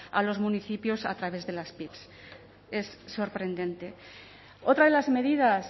a los municipios a través de las pig es sorprendente otra de las medidas